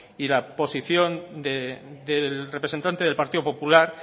y la posición del representante del partido popular